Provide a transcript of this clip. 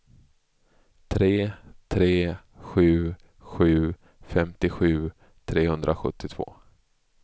tre tre sju sju femtiosju trehundrasjuttiotvå